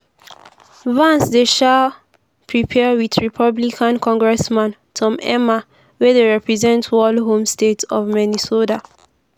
vance dey um prepare wit republican congressman tom emmer wey dey represent wal home state of minnesota.